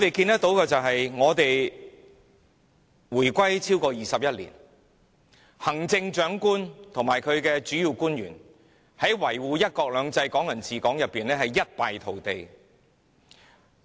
香港回歸超過21年，行政長官及其主要官員在維護"一國兩制"和"港人治港"方面，可說一敗塗地。